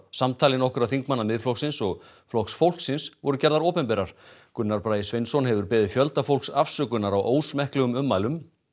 samtali nokkurra þingmanna Miðflokksins og Flokks fólksins voru gerðar opinberar Gunnar Bragi Sveinsson hefur beðið fjölda fólks afsökunar á ósmekklegum ummælum